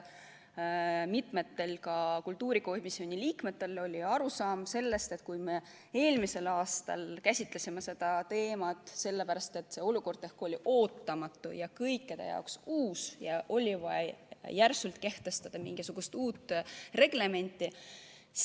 Mitmel kultuurikomisjoni liikmel oli arusaam, et me eelmisel aastal käsitlesime seda teemat sellepärast, et olukord oli ootamatu ja kõikide jaoks uus ja oli vaja kiiresti kehtestada mingisugune uus reglement.